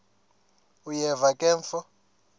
uyeva ke mfo